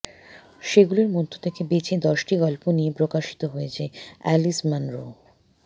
সেগুলোর মধ্য থেকে বেছে দশটি গল্প নিয়ে প্রকাশিত হয়েছে অ্যালিস মানরোর